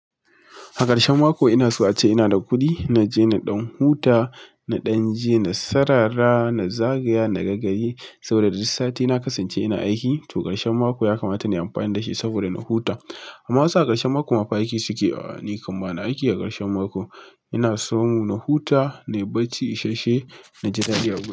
A ƙarshen mako ina so a ce ina da kuɗi. Na je na ɗan huta, na ɗan je na sarara, na zagaya, na ga gari saboda duk sati na kasance ina aiki. To ƙarshen mako ya kamata na yi amfani da shi saboda na huta. Amma wasu a ƙarshen mako ma fa aiki suke yi. A'a, ni kam ba na aiki a ƙarshen mako. Ina so na huta, na yi barci isasshe na ji daɗi a gida.